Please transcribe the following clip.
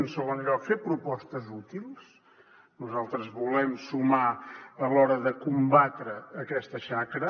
en segon lloc fer propostes útils nosaltres volem sumar a l’hora de combatre aquesta xacra